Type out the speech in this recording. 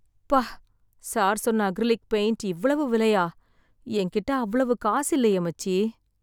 ப்பா! சார் சொன்ன acrylic paint இவ்வளவு விலையா! என் கிட்ட அவ்வளவு காசு இல்லையே, மச்சி!